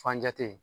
Fanjate